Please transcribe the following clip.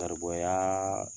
garibuya